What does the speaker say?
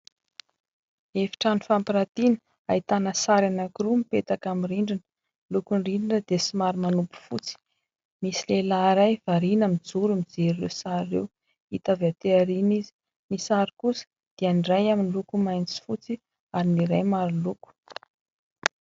Efitrano fampiratiana, ahitana sary anankiroa mipetaka amin'ny rindrina. Ny lokon'ny rindrina dia somary manopy fotsy. Misy lehilahy iray variana mijoro, mijery ireo sary ireo hita avy aty aoriana izy. Ny sary kosa dia iray miloko mainty sy fotsy ary ny iray maro loko.